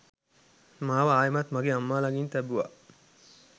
මාව ආයෙත් මගේ අම්මා ලඟින් තැබුවා